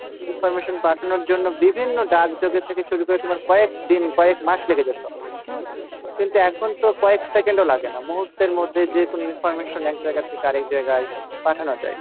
information পাঠানোর জন্য বিভিন্ন ডাকজগত থেকে শুরু করে তোমার কয়েকদিন কয়েকমাস লেগে যেতো, হম ? কিন্তু এখন তো কয়েক second ও লাগে না মুহূর্তের মধ্যে যেকোনো information এক জায়গা থেকে আরেক জায়গায় পাঠানো যাই,